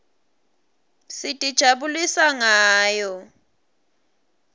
sitijabulisa ngayo